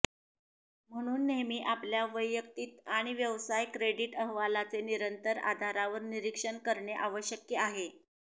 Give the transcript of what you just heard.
म्हणून नेहमी आपल्या वैयक्तिक आणि व्यवसाय क्रेडिट अहवालांचे निरंतर आधारावर निरीक्षण करणे आवश्यक आहे